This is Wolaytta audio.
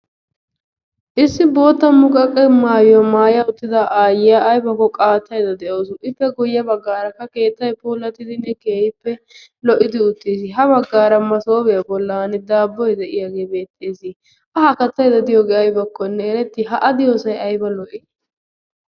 Issi bootta muqaqe mayuwa maya uttida aayiya ayibakko qaattayidda de'awusu ippe guyye baggaarakka keettay puulattidinne keehippe lo'idi uttis. Ha baggaara masoofiya bollan daabboy de'iyagee beettees. A ha kattayidda diyogee ayibakkonne eretti? Ha a diyosay ayiba lo'i!